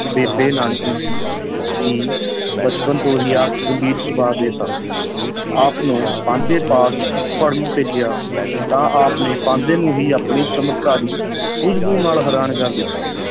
ਬੇਬੇ ਨਾਨਕੀ ਸੀ ਜੀ ਬਚਪਨ ਤੋਂ ਹੀ ਆਪ ਗੰਭੀਰ ਸੁਭਾਅ ਦੇ ਸਨ ਆਪ ਨੂੰ ਪਾਂਧੇ ਪਾਸ ਪੜਨ ਭੇਜਿਆ ਤਾਂ ਆਪ ਨੇ ਪਾਂਧੇ ਨੂੰ ਹੀ ਆਪਣੀ ਚਮਤਕਾਰੀ ਸੂਝ-ਬੂਝ ਨਾਲ ਹੈਰਾਨ ਕਰ ਦਿੱਤਾ।